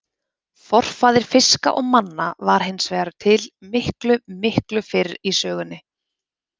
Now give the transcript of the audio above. Forfaðir fiska og manna var hins vegar til miklu, miklu fyrr í sögunni.